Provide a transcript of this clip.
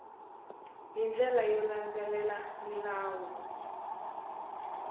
hi ndlela yo landzelela milawu